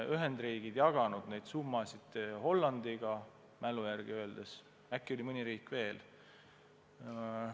Ühendriigid on jaganud neid summasid Hollandiga, kui mu mälu ei peta, ja äkki on mõni riik veel.